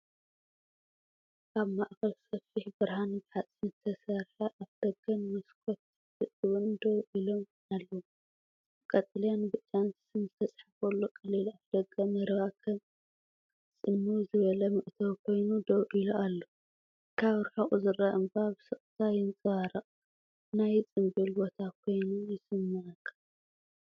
ኣብ ማእከል ሰፊሕ ብርሃን ብሓጺን ዝተሰርሐ ኣፍደገን መስኮት ሕጡብን ደው ኢሎም ኣለዉ። ብቀጠልያን ብጫን ስም ዝተጻሕፈሉ ቀሊል ኣፍደገ መረባ ከም ጽምው ዝበለ መእተዊ ኮይኑ ደው ኢሉ ኣሎ። ካብ ርሑቕ ዝርአ እምባ ብስቕታ ይንጸባረቕ፣ ናይ ጽምብል ቦታ ኮይኑ ይስምዓካ።